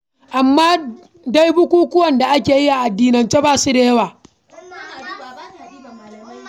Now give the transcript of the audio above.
Amma dai bukukuwan da ake yi a addinance ba su da yawa.